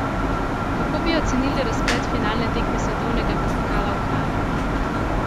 Kako bi ocenili razplet finalne tekme svetovnega pokala v Kranju?